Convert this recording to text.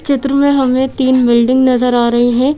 चित्र में हमें तीन बिल्डिंग नजर आ रहे है।